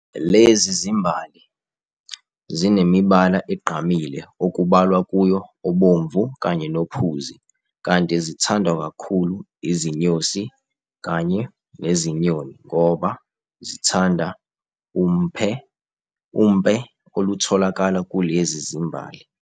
Lezi zimbali zinemibala egqamile okubalwa kuyo obomvu kanye nophuzi kanti zithandwa kakhulu izinyosi kanye nezinyoni ngoba zithanda umpe oluthokala kulezi zimbali.